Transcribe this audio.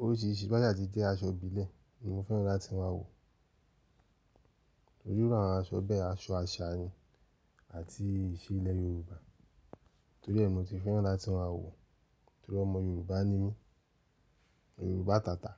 Oríṣìíríṣìí bá yà ti jẹ́ aṣọ ìbílẹ̀ ni mo fẹ́ràn láti máa wọ, torí iru àwonn aṣọ bẹ́ẹ̀, aṣọ àṣà ni àti ìṣe ilẹ̀ Yorùbá. Torí ẹ mi ò tí fẹ́ràn láti máa wọ, torí ọmọ Yorùbá ni mí, Yorùbá tàtà.